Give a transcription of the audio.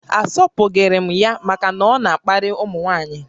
A sọpụghịrị m ya màkà na ọ na-akparị ụmụnwaanyi